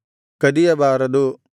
ಕದಿಯಬಾರದು